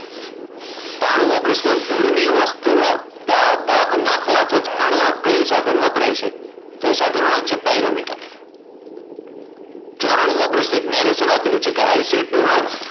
ત્રણુમો પ્રશ્ન દૂરની વસ્તુનો તાપ માપવા કે જાણવા કયું સાધન વપરાય છે? તો જવાબ આવશે pyrometer. ચોરાનું મો પ્રશ્ન એક આપેલ છે i said to her